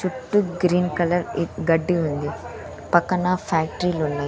చుట్టూ green colour గడ్డి ఉంది పక్కన ఫ్యాక్ట్రీ లున్నాయ్.